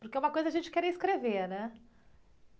Porque uma coisa é a gente querer escrever, né?